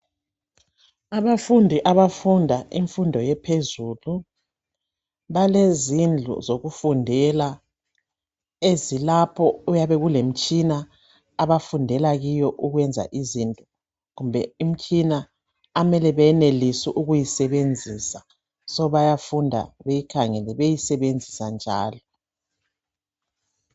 Abafundi abafunda imfundo yaphezulu. Balezindlu zokufundela , ezilapho okuyabe kulemitshina abafundela kiyo ukwenza izinto. Kumbe imitshina okumele benelise ukuyisebenzisa. Bayafunda beyikhangele, beyisebenzisa njalo.